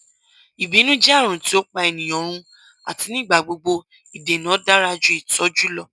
ibinu jẹ arun ti o pa eniyan run ati nigbagbogbo idena dara ju itọju lọ